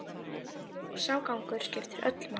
Og sá gangur skiptir öllu máli.